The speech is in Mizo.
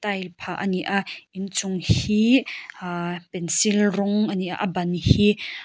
a inphah a ni a inchung hii aaa pencil rawng a ni a a ban hi--